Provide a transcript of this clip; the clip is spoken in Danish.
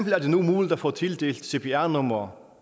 er det nu muligt at få tildelt cpr nummer